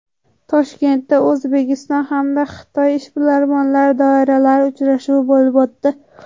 Toshkentda O‘zbekiston hamda Xitoy ishbilarmon doiralari uchrashuvi bo‘lib o‘tdi.